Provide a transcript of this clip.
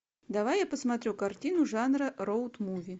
давай я посмотрю картину жанра роуд муви